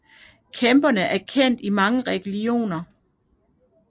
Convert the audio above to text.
Kæmperne er kendt i mange religioner